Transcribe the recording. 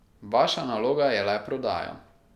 Vaša naloga je le prodaja.